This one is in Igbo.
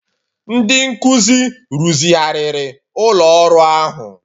Ndị nkuzi rụzigharịrị ụlọ ọrụ ahụ